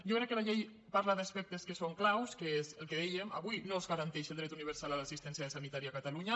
jo crec que la llei parla d’aspectes que són claus que és el que dèiem avui no es garanteix el dret universal a l’assistència sanitària a catalunya